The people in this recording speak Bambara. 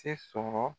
Se sɔrɔ